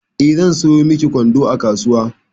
Eh, zan sayo miki kwando a kasuwa.